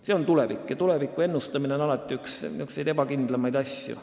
See on tulevik ja tuleviku ennustamine on alati üks ebakindlamaid asju.